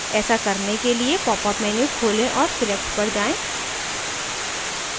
ऐसा करने के लिए popअप menu खोलें और select पर जाएँ